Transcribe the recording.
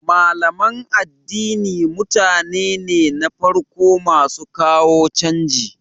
Malaman addini mutane ne na farko masu kawo canji